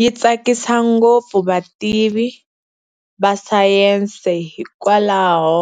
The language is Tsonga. Yi tsakisa ngopfu vativi va sayense hikwalaho